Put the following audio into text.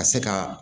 Ka se ka